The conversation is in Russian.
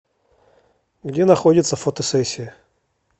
где находится фотосессия